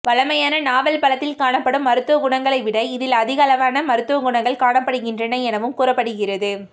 வழமையான நாவல் பழத்தில் காணப்படும் மருத்துவ குணங்களை விட இதில் அதிகளவான மருத்துவ குணங்கள் காணப்படுகின்றன எனவும் கூறப்படுகிறது